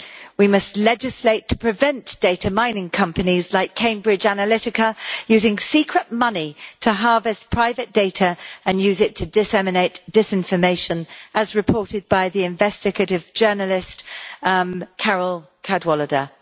We must legislate to prevent data mining companies like Cambridge Analytica using secret money to harvest private data and use it to disseminate disinformation, as reported by the investigative journalist Carole Cadwalladr.